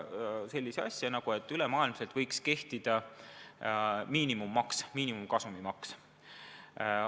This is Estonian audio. Nende idee kohaselt võiks ülemaailmselt kehtida miinimumkasumimaks.